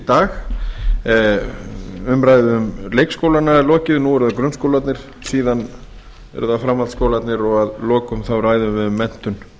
dag umræðu um leikskólana er lokið nú eru það grunnskólarnir síðan eru það framhaldsskólarnir og að lokum ræðum við um menntun